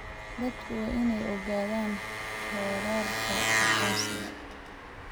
Dadku waa inay ogaadaan xeerarka aqoonsiga.